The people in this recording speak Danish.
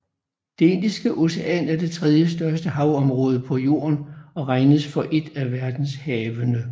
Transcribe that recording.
Det Indiske Ocean er det tredjestørste havområde på Jorden og regnes for et af verdenshavene